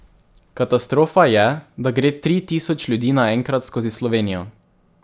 Katastrofa je, da gre tri tisoč ljudi naenkrat skozi Slovenijo.